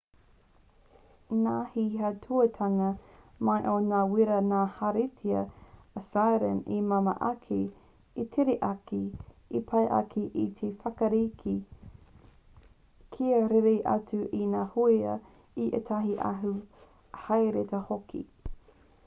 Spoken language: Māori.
nā te auahatanga mai o ngā wīra ngā hāriata assyrian i māmā ake i tere ake i pai ake te whakarite kia rere atu i ngā hōia i ētahi atu hāriata hoki